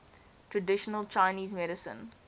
traditional chinese medicine